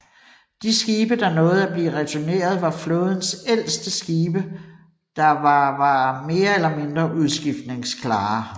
De skibe der nåede at blive returneret var flådens ældste skibe der var var mere eller mindre udskiftningsklare